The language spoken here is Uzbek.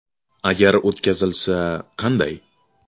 Agar o‘tkazilsa, qanday?.